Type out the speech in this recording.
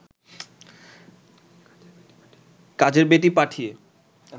কাজের বেটি পাঠিয়ে